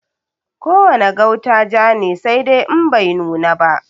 Ko wane gauta ja ne, saidai In bai nuna ba.